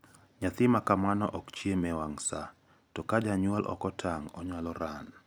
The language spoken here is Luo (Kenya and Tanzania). nyathi makamano okchiem e wang` saa to kajanyuol okotang` onyalo ran.